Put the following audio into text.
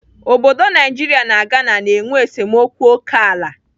Obodo Naijiria na Ghana na-enwe esemokwu ókèala.